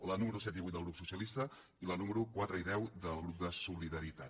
les números set i vuit del grup socialista i les números quatre i deu del subgrup de solidaritat